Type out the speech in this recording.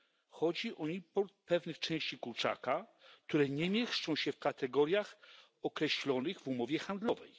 Chodzi o import pewnych części kurczaka, które nie mieszczą się w kategoriach określonych w umowie handlowej.